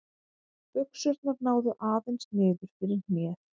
Buxurnar náðu aðeins niður fyrir hnéð.